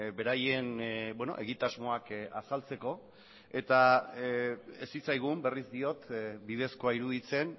beraien egitasmoak azaltzeko eta ez zitzaigun berriz diot bidezkoa iruditzen